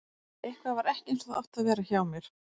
Eitthvað var ekki eins og það átti að vera hjá mér.